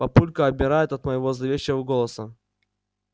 папулька обмирает от моего зловещего голоса